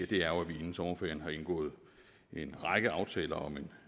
det er jo at vi inden sommerferien har indgået en række aftaler om en